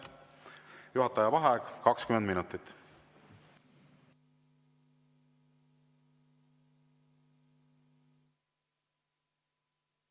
Juhataja vaheaeg 20 minutit.